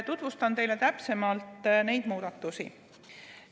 Tutvustan teile neid muudatusi täpsemalt.